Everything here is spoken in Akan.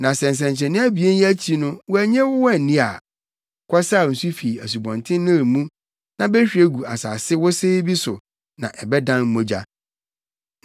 Na sɛ nsɛnkyerɛnne abien yi akyi no wɔannye wo anni a, kɔsaw nsu fi Asubɔnten Nil mu na behwie gu asase wosee bi so na ɛbɛdan mogya.”